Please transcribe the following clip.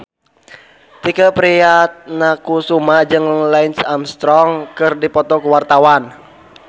Tike Priatnakusuma jeung Lance Armstrong keur dipoto ku wartawan